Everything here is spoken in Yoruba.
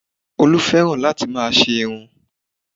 Olú fẹ́ràn láti máa ṣe irun